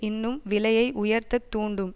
இன்னும் விலையை உயர்த்தத் தூண்டும்